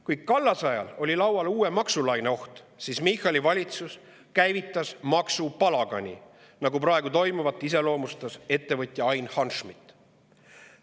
Kui Kallase ajal oli laual uue maksulaine oht, siis Michali valitsus käivitas maksupalagani, nagu iseloomustas praegu toimuvat ettevõtja Ain Hanschmidt.